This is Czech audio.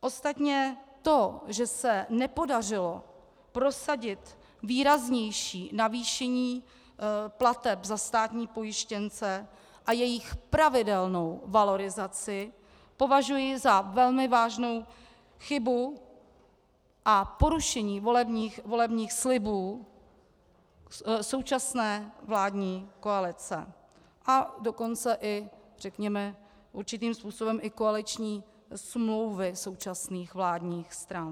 Ostatně to, že se nepodařilo prosadit výraznější navýšení plateb za státní pojištěnce a jejich pravidelnou valorizaci, považuji za velmi vážnou chybu a porušení volebních slibů současné vládní koalice, a dokonce i řekněme určitým způsobem i koaliční smlouvy současných vládních stran.